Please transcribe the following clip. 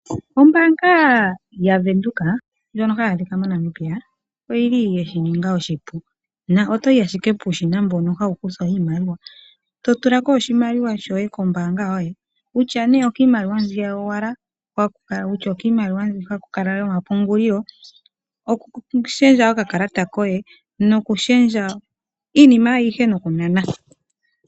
Ombaanga yaVenduka ndjono hayi adhika moNamibia oyi li ye shi ninga oshipu na oto yi ashike puushina mbono hawu kuthwa iimaliwa to tula ko oshimaliwa shoye kombaanga yoye, kutya nee okiimaliwa mbi yowala, kutya okiimaliwa ho haku kala yomapungulilo, okushendja okakalata koye nokushendja iinima ayihe nokunana.